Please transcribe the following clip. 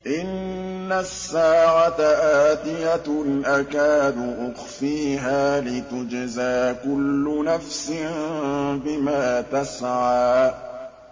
إِنَّ السَّاعَةَ آتِيَةٌ أَكَادُ أُخْفِيهَا لِتُجْزَىٰ كُلُّ نَفْسٍ بِمَا تَسْعَىٰ